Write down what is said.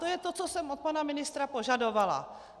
To je to, co jsem od pana ministra požadovala.